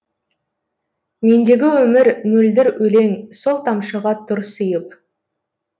мендегі өмір мөлдір өлең сол тамшыға тұр сыйып